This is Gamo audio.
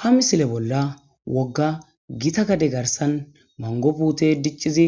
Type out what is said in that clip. ha misile bolla wogga gita gade garsan mangopuute diccizi